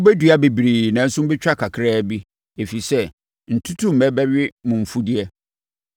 Mobɛdua bebree nanso mobɛtwa kakraa bi, ɛfiri sɛ, ntutummɛ bɛwe mo mfudeɛ.